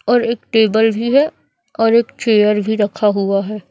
और एक टेबल भी है और एक चेयर भी रखा हुआ है।